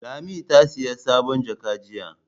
Lami ta saya sabon jaka jiya.